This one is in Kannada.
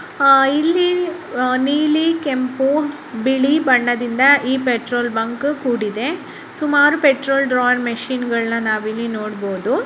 ಆಹ್ಹ್ ಇಲ್ಲಿ ಆಹ್ಹ್ ನೀಲಿ ಕೆಂಪು ಬಿಳಿ ಬಣ್ಣದಿಂದ ಈ ಪೆಟ್ರೋಲ್ ಬಂಕ್ ಕೂಡಿದೆ ಸುಮಾರು ಪೆಟ್ರೋಲ್ ಮಷೀನ್ಗಳ್ನ ನಾವ್ ಇಲ್ಲಿ ನೋಡಬಹುದು.